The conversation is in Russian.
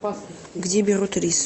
где берут рис